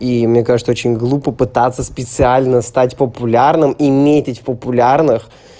и мне кажется очень глупо пытаться специально стать популярным и метить популярных